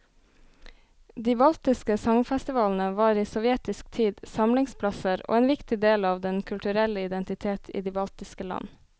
De baltiske sangfestivalene var i sovjetisk tid samlingsplasser og en viktig del av den kulturelle identitet i de baltiske land.